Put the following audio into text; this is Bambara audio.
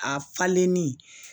A falenni